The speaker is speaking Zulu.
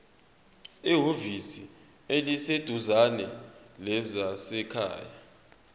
ehhovisi eliseduzane lezasekhaya